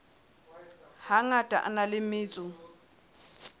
hangata a na le metso